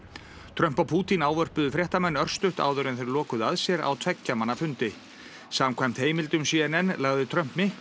Trump og Pútín ávörpuðu fréttamenn örstutt áður en þeir lokuðu að sér á tveggja manna fundi samkvæmt heimildum c n n lagði Trump mikla